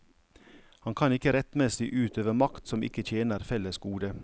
Han kan ikke rettmessing utøve makt som ikke tjener fellesgodet.